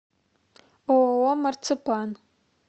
ооо марципан